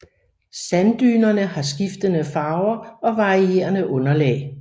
Sanddynerne har skiftende farver og varierende underlag